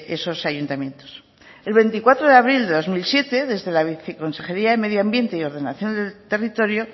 esos ayuntamientos el veinticuatro de abril de dos mil siete desde la viceconsejería de medio ambiente y ordenación del territorio